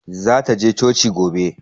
Zata je coci gobe.